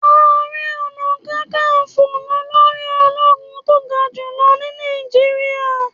Ààrẹ Ọ̀nà Kakaǹfò lolórí ológun tó ga jùlọ ni Nàìjíríà.